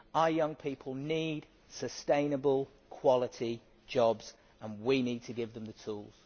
Our young people need sustainable, quality jobs and we need to give them the tools.